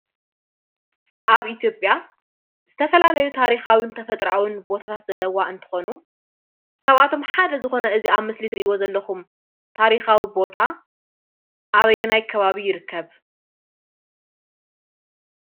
ኣብ ኢትዮጵያ ዝተፈላለዩ ታሪካዊን ተፈጥራኣዊ ቦታታት ዘለዋ እንትኮኑ ካብኣቶ ሓደ ዝኮነ ኣዚ ኣብ ምስሊ እትሪእዎ ዘለኹም ታሪካዊ ቦታ ኣበየናይ ከባቢ ይርከብ?